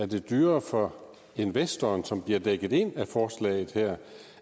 det dyrere for investoren som bliver dækket ind af forslaget her